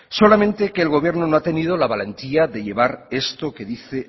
solamente que el gobierno no ha tenido la valentía de llevar esto que dice